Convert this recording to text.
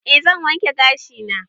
E zan wanke gashi na